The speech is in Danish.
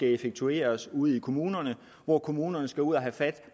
effektueres ude i kommunerne hvor kommunerne skal ud at have fat